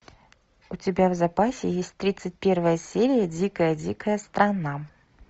у тебя в запасе есть тридцать первая серия дикая дикая страна